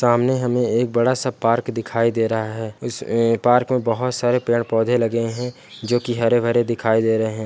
सामने हमे एक बड़ा-सा पार्क दिखाई दे रहा हैं इस पार्क में बहुत सारे पेड़-पौधे लगे हैं जो की हरे-भरे दिखाई दे रहे हैं।